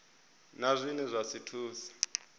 na zwine zwa si thuse